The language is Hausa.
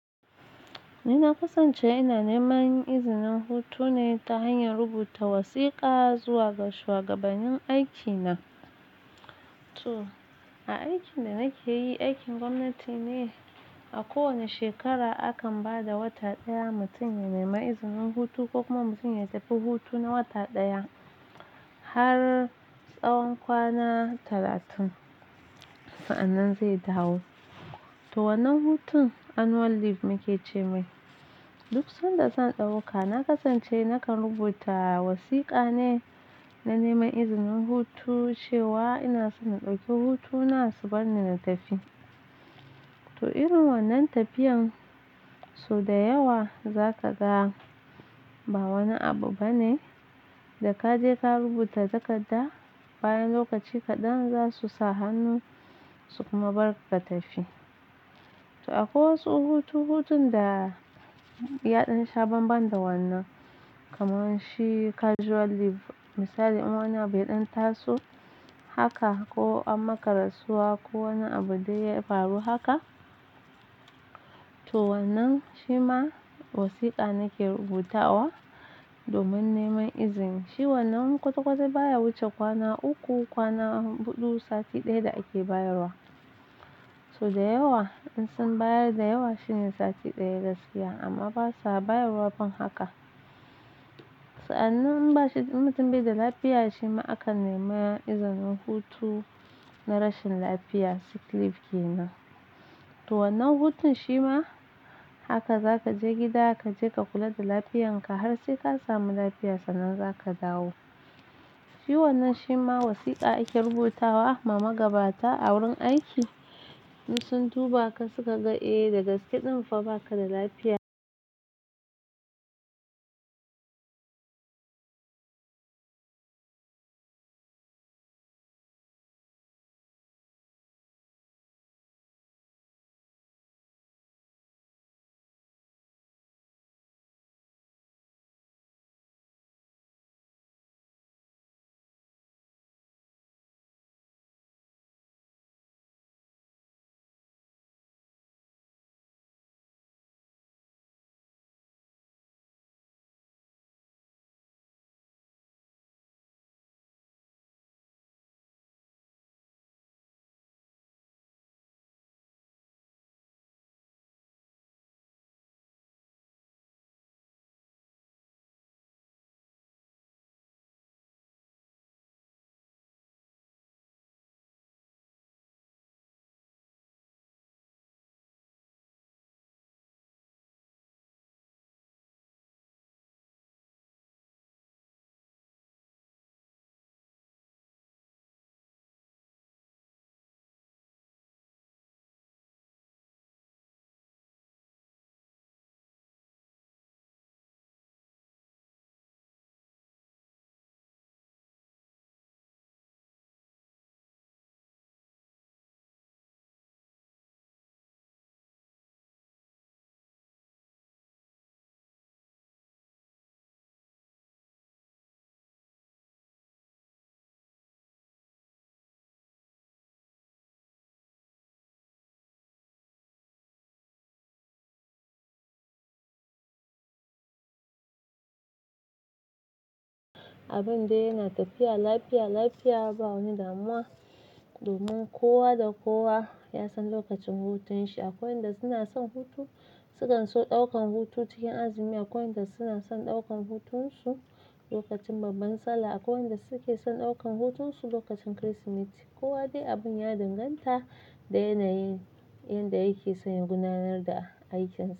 Ni na kasance ina neman izinin hutu ne ta hanyar rubuta wasiƙa, zuwa ga shuwagabanin aiki na. Toh, a aikin da nake yi, aikin gwamnati ne. A kowane shekara, akan ba da wata ɗaya mutum ya nema izinin hutu, ko kuma mutum ya tafi hutu na wata ɗaya, har tsawon kwana talatin. Sa'annan zai dawo. Toh, wannan hutun annual leave muke ce mai. Duk sanda zan ɗauka, na kasance nakan rubuta wasiƙa ne na neman izinin hutu, cewa ina so in ɗauki hutuna, su bar ni in tafi. Toh, irin wannan tafiyan, so da yawa za ka ga, ba wani abu ba ne. Da ka je ka rubuta takarda, bayan lokaci kaɗan za su sa hannu, su kuma bar ka, ka tafi. Toh, akwai wasu hutu-hutun da yaɗan sha ban-ban da wannan. Kamar shi casual leave, misali in wani abu ya ɗan taso haka, ko an maka rasuwa, ko wani abu dai ya faru haka. Toh, wa'innan shi ma wasiƙa nake rubuta wa domin neman izini. Shi wannan kwata-kwata baya wuce kwana uku, kwana buɗu, sati ɗaya da ake bayarwa. So da yawa, in sun bayar da yawa shine sati ɗaya gaskiya, amma basa bayarwa ban haka. Sa'annan in bashi, in mutum bai da lafiya, shi ma akan nema izinin hutu na rashin lafiya, sick leave ke nan. Toh, wannan hutun shi ma haka za ka je gida, ka je ka kula da lafiyarka har sai ka samu lafiya sannan za ka dawo. Shi wannan, shi ma wasiƙa ake rubuta wa ma magabata a wurin aiki. Duk sun duba in suka ga eh, dagaske ɗin fa ba ka da lafiya. Abin dai yana tafiya lafiya-lafiya babu wani dama. Domin kowa da kowa ya san lokacin hutun shi. Akwai wanda suna son hutu, sukan so ɗaukan hutu cikin azumi. Akwai wanda suna son ɗaukan hutunsu lokacin babban Sallah. Akwai wanda suke son ɗaukan hutunsu lokacin Kirsimeti. Kowa dai abin ya dinganta da yana yin inda yake son ya gudanar da aikinsa.